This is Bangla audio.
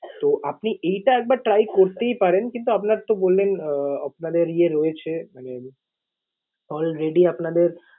তো আপনি এটা একবার try করতেই পারেন কিন্তু আপনার তো বললেন আহ আপনাদের ইয়ে রয়েছে মানে already আপনাদের